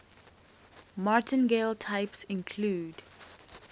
martingale types include